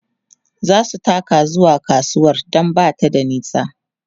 zasu taka zuwa kasuwar Dan Bata da nisa